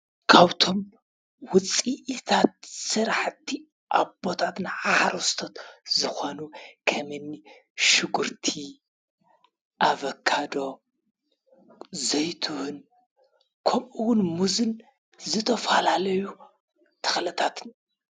ካብቶም ውፅኢታት ስራሕቲ